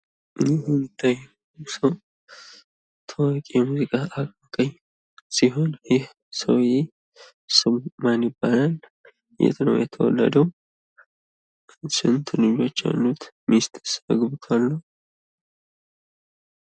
ይህ የሚታየው ምስል ታዋቂ የሙዚቃ አቀንቃኝ ሲሆን ፤ ስሙ ማን ይባላል? የት ነው የተወለደው? ስንት ልጆች አሉት? ሚስትስ አግብቷል ወይ?